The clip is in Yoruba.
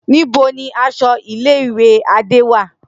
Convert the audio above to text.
Nibo ni aṣọ ile-iwe Ade wa?